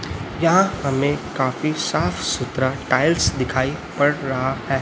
यहां हमें काफी साफ सुथरा टाइल्स दिखाई पड़ रहा है।